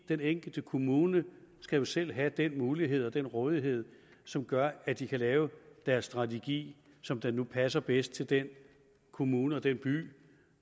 den enkelte kommune skal selv have den mulighed og den rådighed som gør at de kan lave deres strategi som det nu passer bedst til den kommune og den by